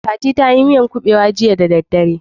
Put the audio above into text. Fati ta yi miyar kuɓewa jiya da dare.